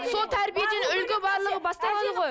сол тәрибеден үлгі барлығы басталады ғой